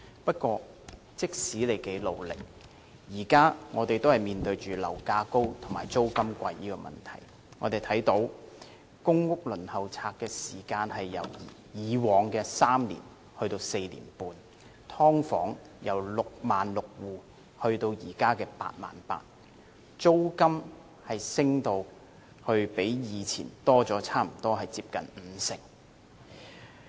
不過，即使他多麼努力，市民現時仍然面對樓價高及租金貴的問題，輪候公屋的時間由以往的3年延長至4年半，"劏房"由66000戶增加至現時的88000戶，租金升幅較以前增加了接近五成。